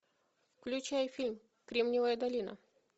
включай фильм кремниевая долина